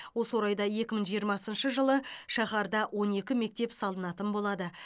осы орайда екі мың жиырмасыншы жылы шаһарда он екі мектеп салынатын болады